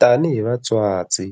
Tanihi vatswatsi